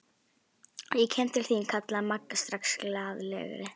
Ég kem til þín kallaði Magga strax glaðlegri.